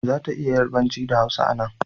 Za ta iya yarbanci da hausa a nan